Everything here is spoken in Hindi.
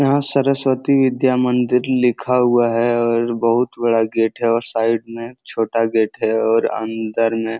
यहां सरस्वती विद्या मंदिर लिखा हुआ है और बहुत बड़ा गेट है और साइड में छोटा गेट है और अंदर में --